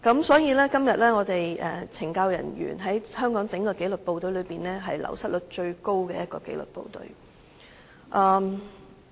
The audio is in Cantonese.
所以，今天懲教署便是香港紀律部隊中流失率最高的部門。